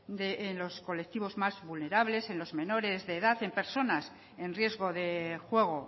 en los colectivos más vulnerables en los menores de edad en personas en riesgo de juego